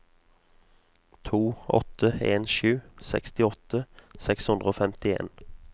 to åtte en sju sekstiåtte seks hundre og femtien